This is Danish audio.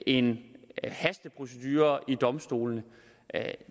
en hasteprocedure ved domstolene